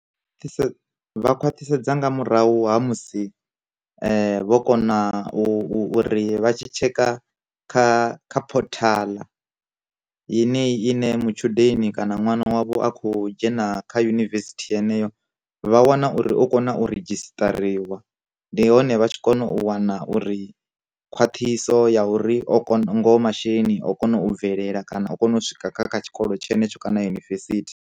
Vha khwathisedza nga murahu ha musi, vho kona u u ri vha tshi tshekha kha kha phothaḽa, yeneyi ine matshudeni kana ṅwana wavho akho dzhena kha yunivesithi yeneyo, vha wana uri u kona u redzhistariwa, ndi hone vha tshi kona u wana uri khwaṱhisaho ya uri o ngoho masheleni o kona u bvelela kana u kona u swika kha kha tshikolo tshenetsho kana yunivesithi.